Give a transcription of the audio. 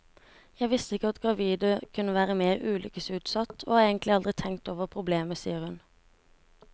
Jeg visste ikke at gravide kunne være mer ulykkesutsatt, og har egentlig aldri tenkt over problemet, sier hun.